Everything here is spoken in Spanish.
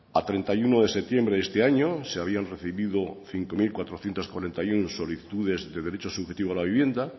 a treinta y uno de septiembre de este año se habían recibido cinco mil cuatrocientos cuarenta y uno solicitudes de derecho subjetivo a la vivienda